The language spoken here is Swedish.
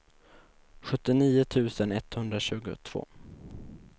sjuttionio tusen etthundratjugotvå